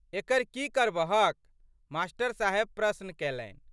एकर की करबहक मा.साहेब प्रश्न कैलनि।